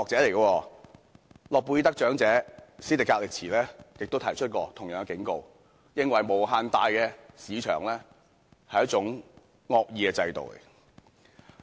諾貝爾得獎者史迪格利茲亦曾提出同樣的警告，認為無限大的市場是一種惡意的制度。